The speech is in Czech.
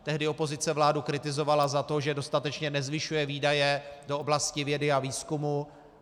Tehdy opozice vládu kritizovala za to, že dostatečně nezvyšuje výdaje do oblasti vědy a výzkumu.